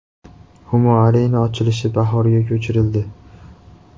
Humo Arena ochilishi bahorga ko‘chirildi.